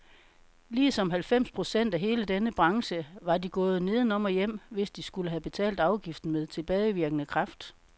Ligesom halvfems procent af hele denne branche var de gået nedenom og hjem, hvis de skulle have betalt afgiften med tilbagevirkende kraft.